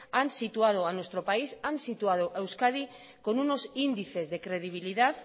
han situado a euskadi con unos índices de credibilidad